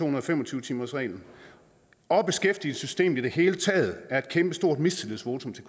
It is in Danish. og fem og tyve timersreglen og beskæftigelsessystemet i det hele taget er et kæmpestort mistillidsvotum til